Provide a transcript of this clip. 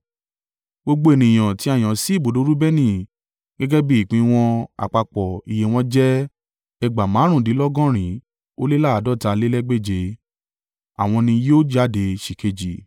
Gbogbo ènìyàn tí a yàn sí ibùdó Reubeni, gẹ́gẹ́ bí ìpín wọn àpapọ̀ iye wọn jẹ́ ẹgbàá márùndínlọ́gọ́rin ó lé àádọ́talélégbèje (151,450). Àwọn ni yóò jáde sìkéjì.